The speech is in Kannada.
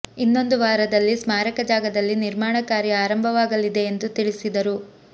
ಇನ್ನೊಂದು ವಾರದಲ್ಲಿ ಸ್ಮಾರಕ ಜಾಗದಲ್ಲಿ ನಿರ್ಮಾಣ ಕಾರ್ಯ ಆರಂಭವಾಗಲಿದೆ ಎಂದು ತಿಳಿಸಿದರು